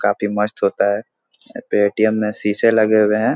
काफी मस्त होता है अ पेटीएम मे शीशे लगे हुए है।